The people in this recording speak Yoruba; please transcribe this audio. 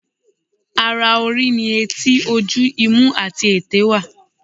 Ara orí ni etí, ojú, imú àti èté wà.